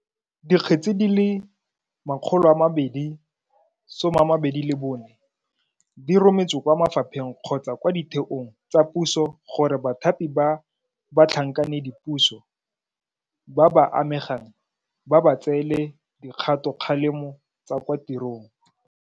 Dikgetse di le 224 di rometswe kwa mafapheng kgotsa kwa ditheong tsa puso gore bathapi ba batlhankedipuso ba ba amegang ba ba tseele dikgatokgalemo tsa kwa tirong.